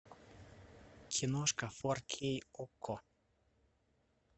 киношка фор кей окко